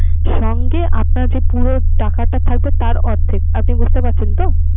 সঙ্গে আপনার যে পুরো টাকাটা থাকবে তার অর্ধেক। আপনি বুঝতে পারছেন তো?